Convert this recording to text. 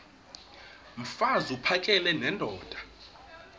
mfaz uphakele nendoda